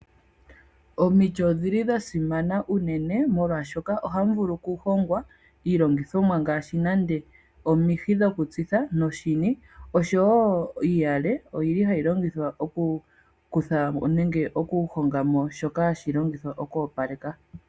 Omiti odhili dha simana unene. Omolwashoka ohamu vulu okuhongwa iilongithomwa ngaashi nenge omihi dhokutsitha noshini. Osho wo iiyale oyili hayi longithwa okukutha mo oombale ndhoka hadhi longithwa oku opaleka.